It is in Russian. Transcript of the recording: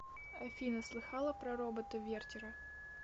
афина слыхала про робота вертера